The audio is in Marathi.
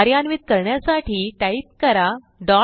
कार्यान्वित करण्यासाठी टाईप करा type